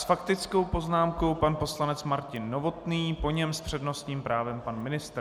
S faktickou poznámkou pan poslanec Martin Novotný, po něm s přednostním právem pan ministr.